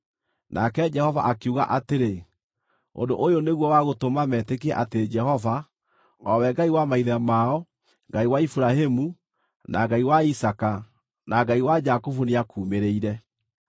Nake Jehova akiuga atĩrĩ, “Ũndũ ũyũ nĩguo wa gũtũma metĩkie atĩ Jehova, o we Ngai wa maithe mao Ngai wa Iburahĩmu, na Ngai wa Isaaka, na Ngai wa Jakubu nĩakuumĩrĩire.”